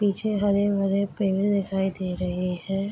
पीछे हरे-भरे पेड़ दिखाई दे रहे है।